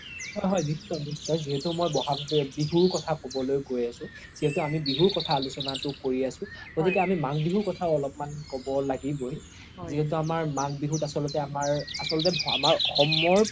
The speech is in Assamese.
হয় হয় নিশ্চয় নিশ্চয় যিহেতো মই বহাগ বিহুৰ কথা ক্'বলৈ গৈ আছো যিহেতো আমি বিহুৰ কথা আলোচ্না কৰি আছো গ্তিকে আমি মাঘ বিহুৰ কথাও অলপ্মান ক্'ব লাগিবৈ যিহেতো মাঘ বিহুত আচল্তে আমাৰ আচল্তে অসমৰ